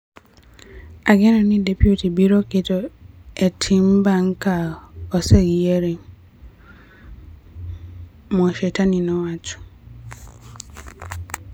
Ageno ni DP biro keto e tim bang' ka oseyiere," Mwashetani nowacho.